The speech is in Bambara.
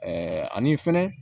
ani fɛnɛ